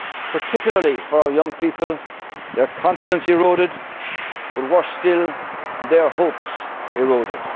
no work to go to. Particularly for our young people, their confidence eroded, but worse still their